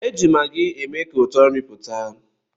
Eji maggi eme ka ụtọ nri pụta.